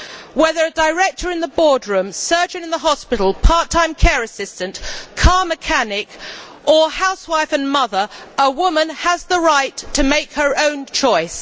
Whether a director in the boardroom, surgeon in the hospital, part time care assistant, car mechanic or housewife and mother, a woman has the right to make her own choice.